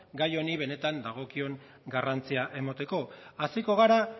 gai honi benetan dagokion garrantzia emateko hasiko gara